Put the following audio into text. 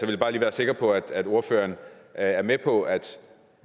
vil bare lige være sikker på at ordføreren er er med på at